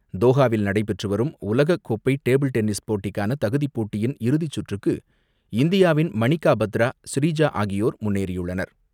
தோஹாவில் நடைபெற்றுவரும் உலகக்கோப்பைடேபிள் டென்னிஸ் போட்டிக்கானதகுதிபோட்டியின் இறுதிச்சுற்றுக்கு இந்தியாவின் மணிக்காபத்ரா, ஸ்ரீஜா ஆகியோர் முன்னேறியுள்ளனர்.